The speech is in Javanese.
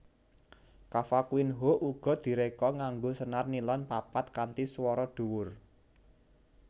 Cavaquinho uga diréka nganggo senar nilon papat kanthi swara dhuwur